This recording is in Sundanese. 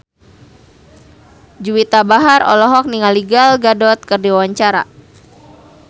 Juwita Bahar olohok ningali Gal Gadot keur diwawancara